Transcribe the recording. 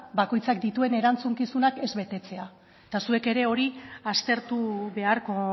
bakoitzak dituen erantzukizunak ez betetzea eta zuek ere hori aztertu beharko